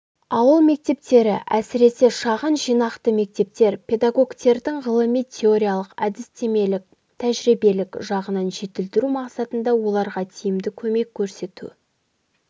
ауыл мектептері әсіресе шағын жинақты мектептер педагогтердің ғылыми-теориялық әдістемелік-тәжірибелік жағынан жетілдіру мақсатында оларға тиімді көмек көрсету